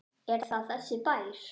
Er það þessi bær?